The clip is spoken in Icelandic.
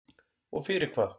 Og fyrir hvað?